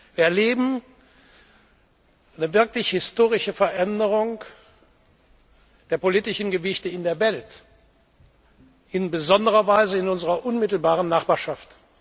Wir erleben eine wirklich historische Veränderung der politischen Gewichte in der Welt, in besonderer Weise in unserer unmittelbaren Nachbarschaft.